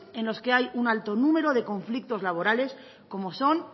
en los que hay un alto número de conflictos laborales como son